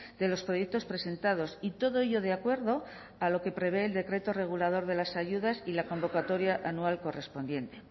de los proyectos presentados y todo ello de acuerdo a lo que prevé el decreto regulador de las ayudas y la convocatoria anual correspondiente